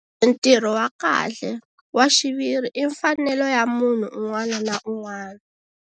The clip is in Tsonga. Ntirho wa kahle, wa xiviri i mfanelo ya munhu un'wana na un'wana.